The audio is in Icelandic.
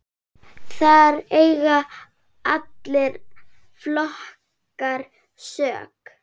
Þar eiga allir flokkar sök.